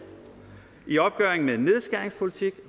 i opgøret med en nedskæringspolitik